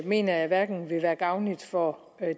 mener jeg hverken vil være gavnligt for